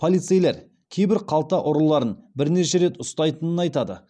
полицейлер кейбір қалта ұрыларын бірнеше рет ұстайтынын айтады